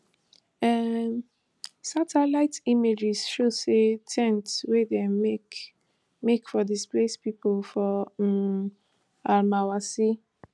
um satellite images show say ten ts wey dem make make for displaced pipo for um almawasi